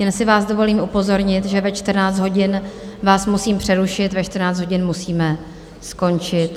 Jen si vás dovolím upozornit, že ve 14 hodin vás musím přerušit, ve 14 hodin musíme skončit.